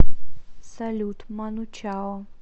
салют ману чао